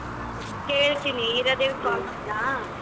ಕೇಳ್ತೀನಿ ಹೀರಾದೇವಿಗ್ ಮಾಡ್ಲಾ?